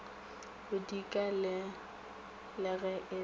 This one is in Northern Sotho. bodika le ge e le